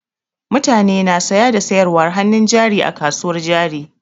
Mutane na saya da sayarwar hannun jari a kasuwar jari.